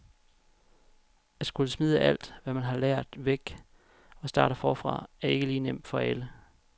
At skulle smide alt, hvad man har lært, væk og starte forfra er ikke lige nemt for alle.